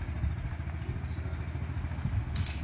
dumisane